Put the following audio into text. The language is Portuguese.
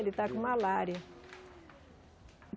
Ele está com malária.